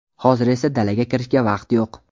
Hozir esa dalaga kirishga vaqt yo‘q.